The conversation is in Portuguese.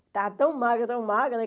Estava tão magra, tão magra, né?